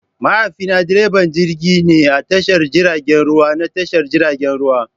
Mahaifina direban jirgi ne a tashar jiragen ruwa na tashar jiragen ruwa.